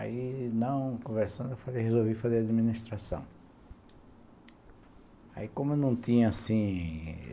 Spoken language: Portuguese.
Aí, não, conversando, resolvi fazer administração. Aí como eu não tinha assim...